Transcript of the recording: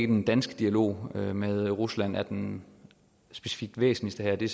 den danske dialog med rusland er den væsentligste her det